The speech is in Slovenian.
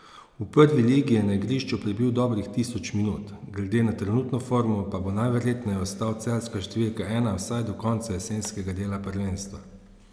V prvi ligi je na igrišču prebil dobrih tisoč minut, glede na trenutno formo pa bo najverjetneje ostal celjska številka ena vsaj do konca jesenskega dela prvenstva.